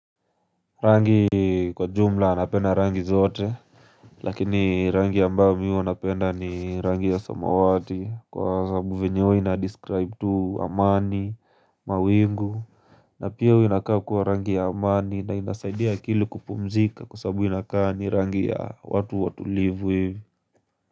Rangi kwa jumla napenda rangi zote Lakini rangi ambayo mi huwanapenda ni rangi ya samawati Kwa sababu venye ina-describe tu amani, mawingu na pia huwa inakaa kuwa rangi ya amani na inasaidia akili kupumzika Kwa sababu inakaa ni rangi ya watu watulivu hivi.